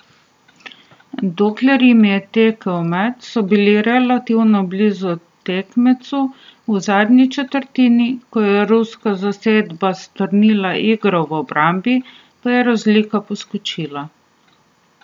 Dokler jim je tekel met, so bili relativno blizu tekmecu, v zadnji četrtini, ko je ruska zasedba strnila igro v obrambi, pa je razlika poskočila.